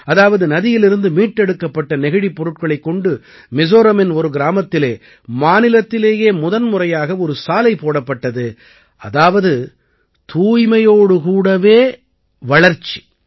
அதாவது நதியிலிருந்து மீட்டெடுக்கப்பட்ட நெகிழிப் பொருட்களைக் கொண்டு மிஸோரமின் ஒரு கிராமத்திலே மாநிலத்திலேயே முதன்முறையாக ஒரு சாலை போடப்பட்டது அதாவது தூய்மையோடு கூடவே வளர்ச்சி